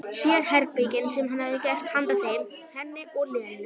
Sérherbergin sem hann hefði gert handa þeim, henni og Lenu.